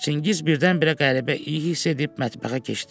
Çingiz birdən-birə qəribə iyi hiss edib mətbəxə keçdi.